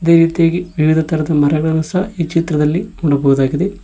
ಅದೇ ರೀತಿಯಾಗಿ ವಿವಿಧ ತರದ ಮರಗಳು ಸಹ ಈ ಚಿತ್ರದಲ್ಲಿ ನೋಡಬಹುದಾಗಿದೆ.